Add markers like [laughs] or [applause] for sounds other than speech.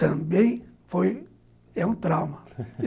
Também foi... é um trauma [laughs]